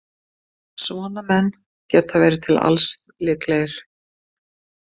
Svona menn geta verið til alls líklegir.